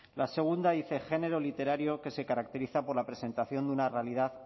la segunda dice género literario que se caracteriza por la presentación de una realidad